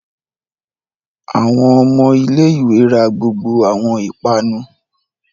Awọn ọmọ ilé-ìwé rá gbogbo awọn ipanu